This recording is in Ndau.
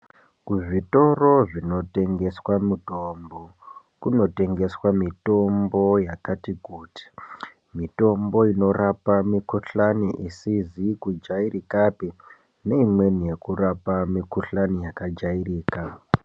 Kuzvitoro zvinotengeswa mitombo kunotengeswa mitombo yakati kuti, mitombo inorapa mikuhlani isizi kujairikapi neimweni yekurapa mikuhlani yakajairika.